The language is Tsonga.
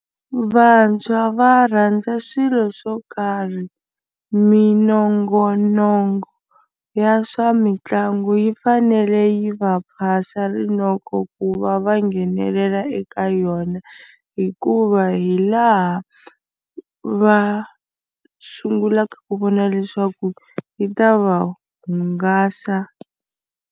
Vantshwa va rhandza swilo swo karhi minongonoko ya swa mitlangu yi fanele yi va phasa rinoko ku va va va nghenelela eka yona hikuva hi laha va sungulaka ku vona leswaku yi ta va hungasa.